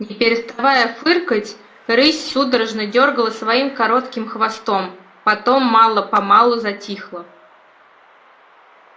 не переставая фыркать рысь судорожно дёргала своим коротким хвостом потом мало помалу затихла